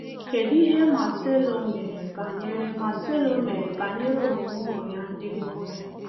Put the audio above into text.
Kedụ ihe Marcelo mere banyere Marcelo mere banyere omume ụmụ ya ndị nwoke?